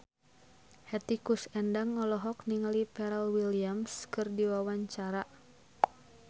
Hetty Koes Endang olohok ningali Pharrell Williams keur diwawancara